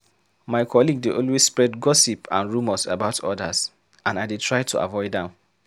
My colleague dey always spread gossip and rumors about others, and I dey try to avoid am.